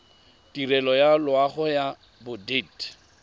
tirelo ya loago ya bodit